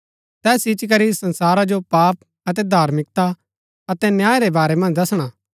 तैस इच्ची करी संसारा जो पाप अतै धार्मिकता अतै न्याय रै बारै मन्ज दसणा